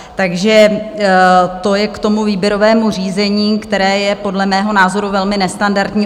Takže to je k tomu výběrovému řízení, které je podle mého názoru velmi nestandardní.